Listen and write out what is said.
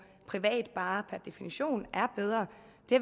private bare per definition er bedre